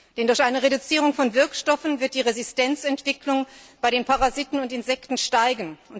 Denn durch eine Reduzierung von Wirkstoffen wird die Resistenzentwicklung bei den Parasiten und Insekten steigen.